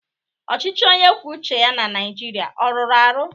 Ọchịchị onye kwuo uche ya na Naịjirịa ọ rụrụ arụ?